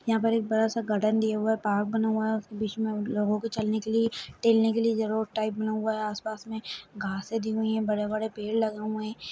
एक बड़ा सा गार्डन दिया हुआ है पार्क बना हुआ है उसमे बीच मे लोगो के चलने के लिए टेहलने के लिए जगह और टाइप बना हुआ है पास मे घसे दी हुई है बड़े-बड़े पेड़ लगे हुए है।